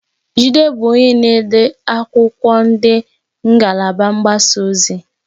Jide bụ onye na-ede akwụkwọ na ngalaba mgbasa ozi.